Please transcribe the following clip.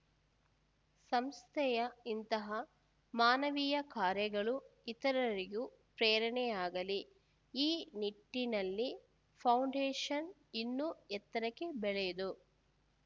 ಸಂಸ್ಥೆಯ ಇಂತಹ ಮಾನವೀಯ ಕಾರ್ಯಗಳೂ ಇತರರಿಗೂ ಪ್ರೇರಣೆಯಾಗಲಿ ಈ ನಿಟ್ಟಿನಲ್ಲಿ ಫೌಂಡೇಷನ್‌ ಇನ್ನೂ ಎತ್ತರಕ್ಕೆ ಬೆಳೆದು